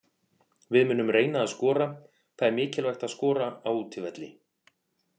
Við munum reyna að skora, það er mikilvægt að skora á útivelli.